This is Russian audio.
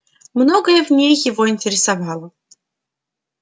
многое в ней его интересовало